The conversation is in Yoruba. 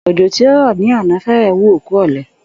Ò̩jò̩ tí ó rò̩ ní àná fé̩rè̩ wú òkú ò̩le̩